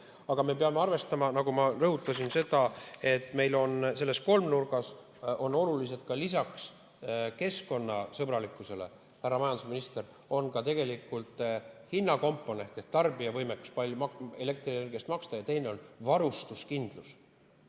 Aga me peame arvestama, nagu ma rõhutasin, seda, et meil on selles kolmnurgas olulised lisaks keskkonnasõbralikkusele, härra majandusminister, tegelikult hinnakomponent ehk tarbija võimekus elektrienergia eest maksta ja teiseks varustuskindlus.